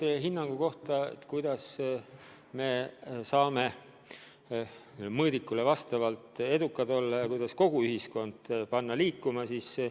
Kõigepealt sellest, kuidas me saame mõõdikule vastavalt edukad olla ja kuidas kogu ühiskond liikuma panna.